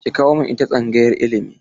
Ki kawo min ita tsangayar ilimi!